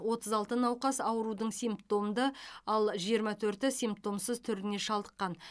отыз алты науқас аурудың сипмтомды ал жиырма төрті симптомсыз түріне шалдыққан